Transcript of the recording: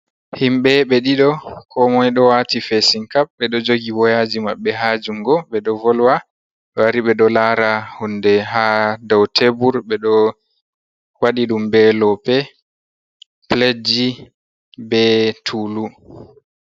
Himɓe ɓe ɗiɗo koo moy ɗo waati "feesinkap" ɓe ɗo jogi woyaaji maɓɓe haa junngo, ɓe ɗo volwa. Ɓe wari ɓe ɗo laara huunde haa dow "teebur", ɓe ɗo waɗi ɗum bee loope, piledji bee "tuulu".